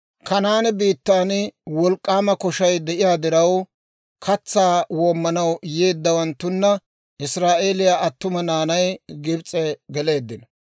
Kanaane biittan wolk'k'aama koshay de'iyaa diraw, katsaa woomanaw yeeddawanttuna israa'eeliyaa attuma naanay Gibs'e geleeddino.